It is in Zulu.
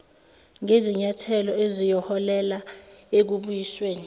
ngezinyathelo eziyoholela ekubuyisweni